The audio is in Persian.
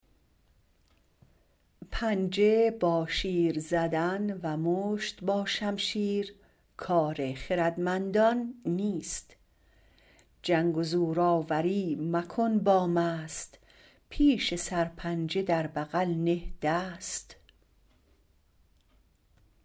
پنجه با شیر زدن و مشت با شمشیر کار خردمندان نیست جنگ و زورآوری مکن با مست پیش سرپنجه در بغل نه دست